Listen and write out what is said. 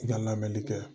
I ka lamɛnni kɛ